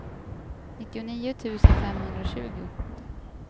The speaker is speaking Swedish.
nittionio tusen femhundratjugo